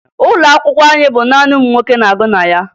Ụlọ akwụkwọ anyị bụ naanị ụmụ nwoke na-agụ na ya